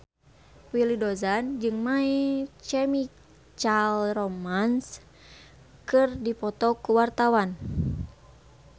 Willy Dozan jeung My Chemical Romance keur dipoto ku wartawan